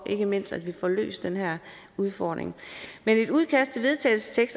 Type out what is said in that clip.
ikke mindst får løst den her udfordring men det